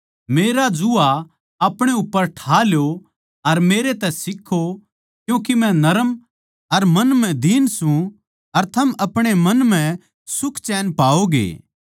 मेरा जूआ अपणे उप्पर ठा ल्यो अर मेरै तै सीक्खो क्यूँके मै नरम अर मन म्ह दीन सूं अर थम अपणे मन म्ह सुखचैन पाओगे